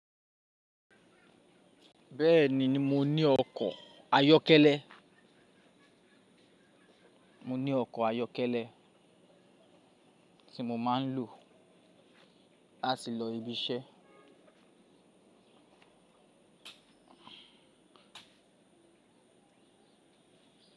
Bẹ́ẹ̀ni, mo ní ọkọ̀ ayọ́kẹ́lẹ́ mo ní ọkọ̀ ayọ́kẹ́lẹ́ tí mo máa ń lò láti lọ ibiṣẹ́